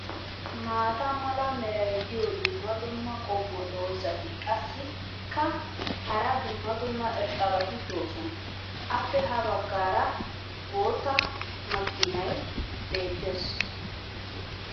maata mala meray diyo dumma dumma qommo dozzati qassikka hara dumma dumma irxxabati doosona. appe ha bagaara bootta makkiinay beetees.